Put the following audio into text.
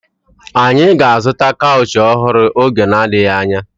Anyị ga-azụta kaụchị ọhụrụ oge na-adịghị anya